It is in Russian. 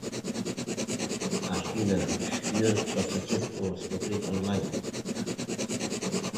афина шпион по соседству смотреть онлайн